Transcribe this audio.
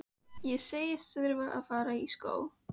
Mjög verðmæt, át Lóa upp eftir honum.